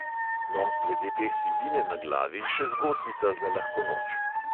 No, glede te sivine na glavi še zgodbica za lahko noč.